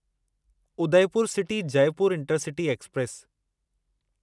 Udaipur city Jaipur intercity express